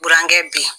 Burankɛ bi